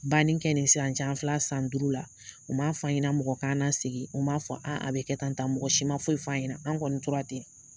Banni kɛ nin sisan cɛ an fil'a san duuru la. U ma f'an ɲɛna mɔgɔ k'an na sigi. U m'a fɔ a bɛ kɛ tan tan, mɔgɔ si ma foyi f'an ɲɛna. An' kɔni tora ten.